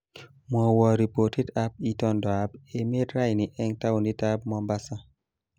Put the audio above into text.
Mwowo ripotit ab itondoab emet raini eng taunitab Mombasa